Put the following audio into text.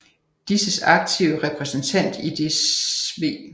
Disses aktive Repræsentant i det sv